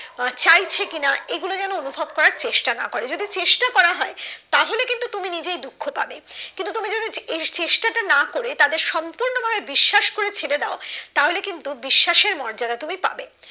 চাহিছে কি না এগুলো যেন অনুভব করার চেষ্টা না করে যদি চেষ্টা করা হয় তাহলে কিন্তু তুমি নিজেই দুঃখ পাবে কিন্তু তুমি যদি এই চেষ্টা টা না করে তাদের সম্পূর্ণ ভাবে বিশ্বাস করে ছেড়ে দাও তাহলে কিন্তু বিশ্বাসের মর্যাদা তুমি পাবে